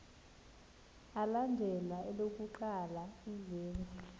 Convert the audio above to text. alandela elokuqala izenzi